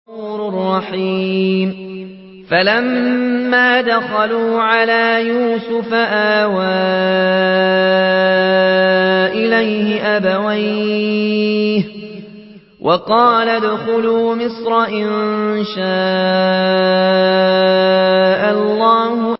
فَلَمَّا دَخَلُوا عَلَىٰ يُوسُفَ آوَىٰ إِلَيْهِ أَبَوَيْهِ وَقَالَ ادْخُلُوا مِصْرَ إِن شَاءَ اللَّهُ آمِنِينَ